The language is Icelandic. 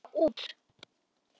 Þau ganga út.